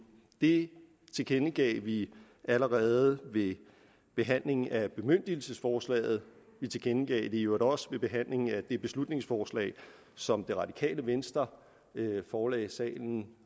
det tilkendegav vi allerede ved behandlingen af bemyndigelsesforslaget vi tilkendegav det i øvrigt også ved behandlingen af det beslutningsforslag som det radikale venstre forelagde salen